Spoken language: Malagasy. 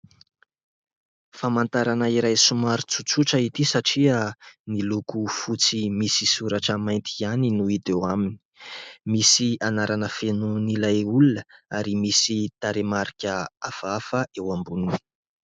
Famantarana iray somary tsotsotra ity satria ny loko fotsy misy soratra mainty ihany no hita eo aminy. Misy anarana fenon'ilay olona ary misy tarehimarika hafahafa eo amboniny.